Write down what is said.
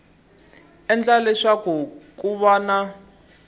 endla leswaku ku va na